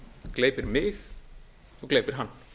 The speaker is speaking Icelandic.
gleypir mig og gleypir hann